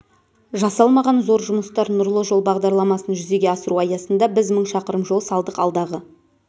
жасалмаған зор жұмыстар нұрлы жол бағдарламасын жүзеге асыру аясында біз мың шақырым жол салдық алдағы